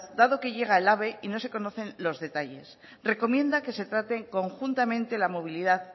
dado que llega el ave y no se conocen los detalles recomienda que se traten conjuntamente la movilidad